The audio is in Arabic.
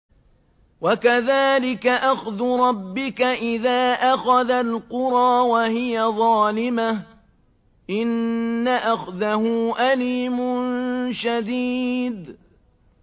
وَكَذَٰلِكَ أَخْذُ رَبِّكَ إِذَا أَخَذَ الْقُرَىٰ وَهِيَ ظَالِمَةٌ ۚ إِنَّ أَخْذَهُ أَلِيمٌ شَدِيدٌ